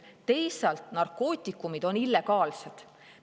Narkootikumid on illegaalsed.